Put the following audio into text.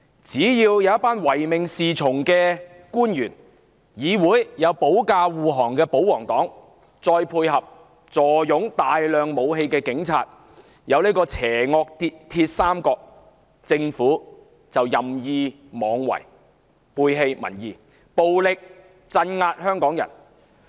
只因為有唯命是從的官員，在議會內保駕護航的保皇黨及坐擁大量武器的警方組成邪惡"鐵三角"，政府就任意妄為，背棄民意，暴力鎮壓香港人。